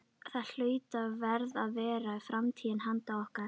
Það hlaut og varð að vera framtíð handa okkur.